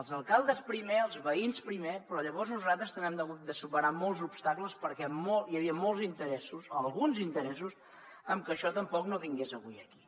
els alcaldes primer els veïns primer però llavors nosaltres també hem hagut de superar molts obstacles perquè hi havia molts interessos o alguns interessos en que això tampoc no vingués avui aquí